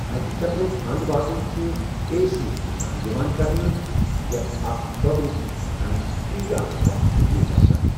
اَکہِ چَکرُک اَنٛد واتُن چھُ اے سۭتۍ نِشانہٕ یِوان کرنہٕ یتھ اکھ دۄگنہٕ اے چھِ وَنان تہٕ یہِ چھُ اکھ وَقفہٕ ہیُو باسان۔